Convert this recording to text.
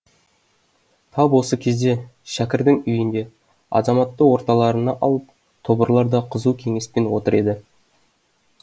тап осы кезде шәкірдің үйінде азаматты орталарына алып тобырлар да қызу кеңеспен отыр еді